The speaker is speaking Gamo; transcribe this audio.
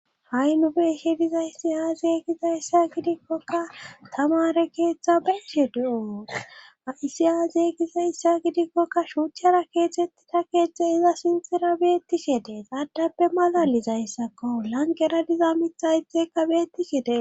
Ha'i nube hedizayssi aazeygizayssa gidikkoka tamare keeththa benshe de7o aysiyaazeygizayssa gidikkokka shuuchchara keetzettita keeztze iza sintira beettishedee xaadappe malalizayssakko langera diza mithayteka beettishede